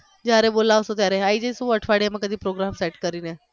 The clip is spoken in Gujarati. જ્યારે બોલાવશો ત્યારે આઈ જઈશુ અઠવાડિયામાં કદી program set કરીને